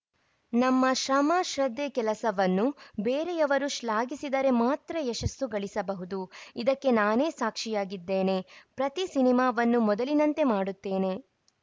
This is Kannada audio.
ನಮ್ಮ ಶ್ರಮ ಶ್ರದ್ದೆ ಕೆಲಸವನ್ನು ಬೇರೆಯವರು ಶ್ಲಾಘಿಸಿದರೆ ಮಾತ್ರ ಯಶಸ್ಸು ಗಳಿಸಬಹುದು ಇದಕ್ಕೆ ನಾನೇ ಸಾಕ್ಷಿಯಾಗಿದ್ದೇನೆ ಪ್ರತಿ ಸಿನಿಮಾವನ್ನು ಮೊದಲಿನಂತೆ ಮಾಡುತ್ತೆನೆ